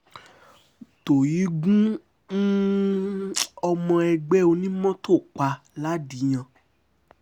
tohéé gun um ọmọ ẹgbẹ́ onímọ́tò pa ladìyàn